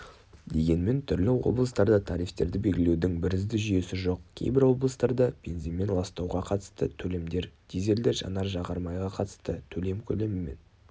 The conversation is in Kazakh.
дегенмен түрлі облыстарда тарифтерді белгілеудің бірізді жүйесі жоқ кейбір облыстарда бензинмен ластауға қатысты төлемдер дизельді жанар-жағар майға қатысты төлем көлемінен